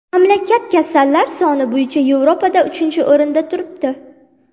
Mamlakat kasallar soni bo‘yicha Yevropada uchinchi o‘rinda turibdi.